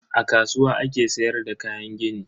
A kasuwa ake sayar da kayan gini.